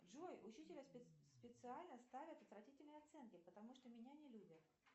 джой учителя специально ставят отвратительные оценки потому что меня не любят